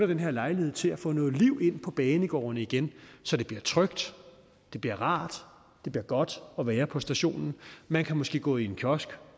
den her lejlighed til at få noget liv ind på banegårdene igen så det bliver trygt det bliver rart og det bliver godt at være på stationen man kan måske gå i en kiosk